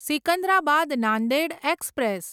Secunderabad Nanded express